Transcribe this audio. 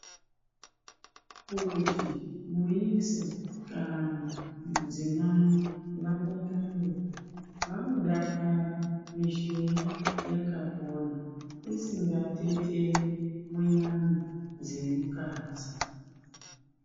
Kuti muyisa kana mudzimai vadakare, vanodakara mishuna yakapona, isingateteni munyama dzemukadzi.